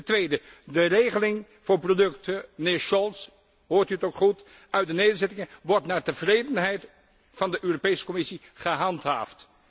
Ten tweede de regeling voor producten, mijnheer Cioloş, hoort u het ook goed, uit de nederzettingen wordt naar tevredenheid van de Europese Commissie gehandhaafd.